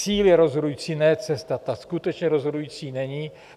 Cíl je rozhodující, ne cesta, ta skutečně rozhodující není.